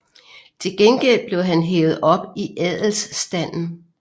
Til gengæld blev han hævet op i adelsstanden